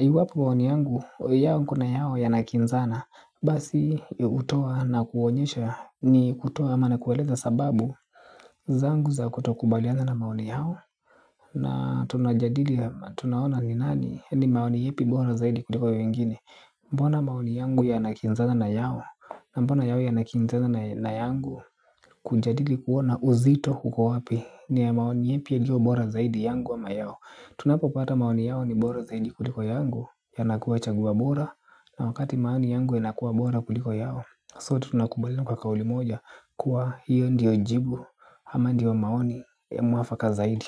iwapo maoni yangu, yao kuna yao yanakinzana. Basi hutoa na kuonyesha ni kutoa ama na kueleza sababu zangu za kutokubaliana na maoni yao. Na tunajadili ya tunaona ni nani. Ni maoni ipi bora zaidi kuliko ya wengine. Mbona maoni yangu yanakinzana na yao. Na mbona yao yanakinzana na yangu. Kujadili kuona uzito uko wapi ni ya maoni ipi yaliyo bora zaidi yangu ama mayao. Tunapopata maoni yao ni bora zaidi kuliko yangu yanakua chaguo bora. Na wakati maoni yangu yanakuwa bora kuliko yao So tunakumbaliana kwa kauli moja kuwa hiyo ndiyo jibu ama ndiyo maoni ya mwafaka zaidi.